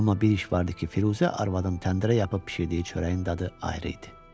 Amma bir iş vardı ki, Firuzə arvadın təndirə yapıb bişirdiyi çörəyin dadı ayrı idi.